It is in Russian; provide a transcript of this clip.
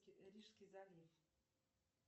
рижский залив